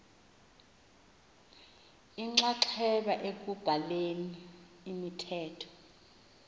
inxaxheba ekubhaleni imithetho